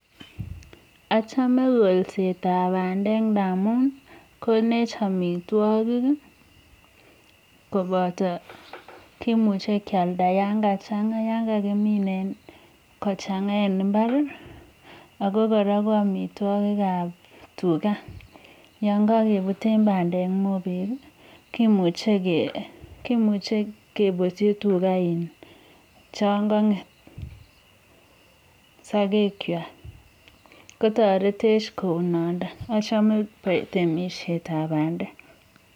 Achome kolsetab bandek ngamun konech amitwogiik, koboto kimuche kealdaa yon kachangaa yon kakimin kochangaa en imbaar, ako kora ko amitwogiik ab tugaa. Yon kakebuten bandek mobeg, kimuche kebutyii tugaa che kong'eet en sigekywak kotoretech kounotok, notok amune achome temisietab bandek